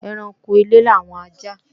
Ẹranko ilé làwọn ajá